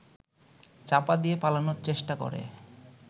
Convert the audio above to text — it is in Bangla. চাপা দিয়ে পালানোর চেষ্টা করে